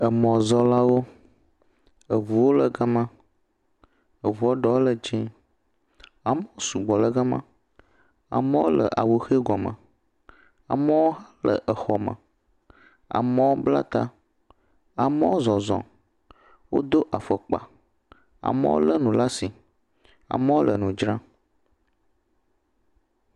Emɔzɔlawo. Eŋuwo le gama. Eŋuwo ɖewo le dzẽ. Amewo sugbɔ le gama. Amewo le awu ʋe gɔme. Aemwo le exɔme. Amewo bla ta. Amewo zɔzɔ. Wodo afɔkpa. Amewo lé nu laa si. Amewo le nudzra.